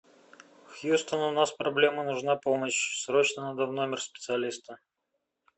хьюстон у нас проблемы нужна помощь срочно надо в номер специалиста